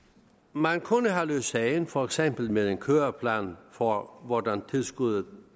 man kunne have løst sagen for eksempel med en køreplan for hvordan tilskuddet